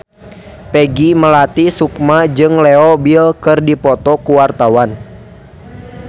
Peggy Melati Sukma jeung Leo Bill keur dipoto ku wartawan